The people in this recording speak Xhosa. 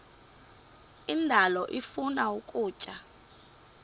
indalo ifuna ukutya